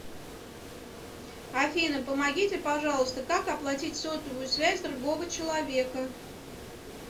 афина помогите пожалуйста как оплатить сотовую связь другого человека